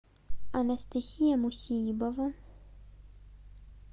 анастасия мусеибова